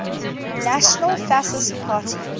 national fascist party